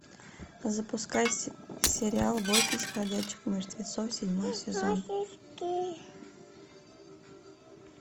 запускай сериал бойтесь ходячих мертвецов седьмой сезон